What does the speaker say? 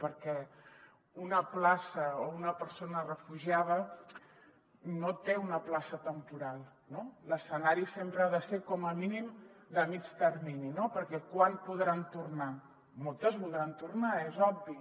perquè una persona refugiada no té una plaça temporal no l’escenari sempre ha de ser com a mínim de mitjà termini no perquè quan podran tornar moltes voldran tornar és obvi